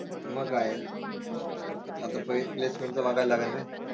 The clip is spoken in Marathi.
मग काय? आता placement च बघायला लागन रे